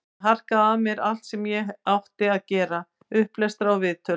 Ég harkaði af mér allt sem ég átti að gera, upplestra, viðtöl.